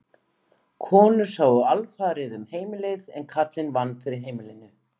Konur sáu alfarið um heimilið en karlinn vann fyrir heimilinu.